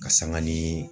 Ka sanga ni